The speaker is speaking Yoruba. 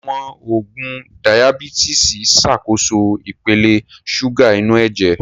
Àwọn oògùn Dayabítìsì Ṣàkóso ipele ṣúgà inú ẹ̀jẹ̀